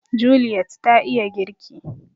Juliet ta iya girki